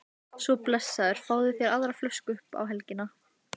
Svo blessaður fáðu þér aðra flösku upp á helgina